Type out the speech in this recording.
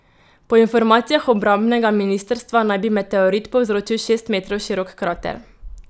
Po informacijah obrambnega ministrstva naj bi meteorit povzročil šest metrov širok krater.